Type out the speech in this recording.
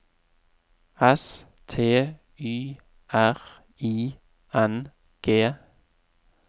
S T Y R I N G